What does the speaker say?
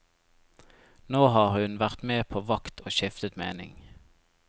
Nå har hun vært med på vakt og skiftet mening.